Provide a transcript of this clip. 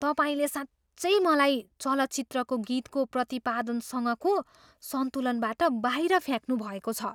तपाईँले साँच्चै मलाई चलचित्रको गीतको प्रतिपादनसँगको सन्तुलनबाट बाहिर फ्याँक्नुभएको छ!